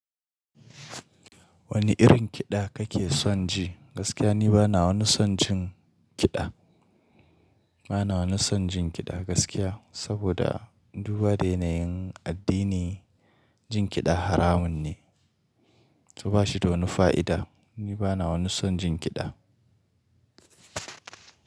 Wani irin kiɗa kake son ji? Gaskiya ni bana wani son jin kiɗa. Bana wani son jin kiɗa gaskiya, saboda duba da yanayin addini, jin kiɗa haramun ne. Toh bashi da wani fa'ida. Ni bana wani son jin kiɗa.